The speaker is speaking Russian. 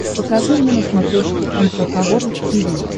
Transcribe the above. покажи мне на смотрешке эн эйч кей волд ти ви